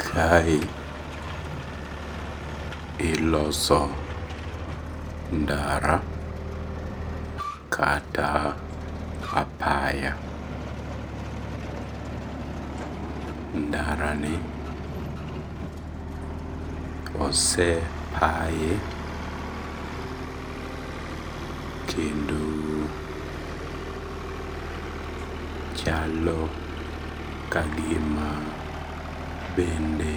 Kae iloso ndara kata apaya, ndarani osepaye kendo chalo kagima bende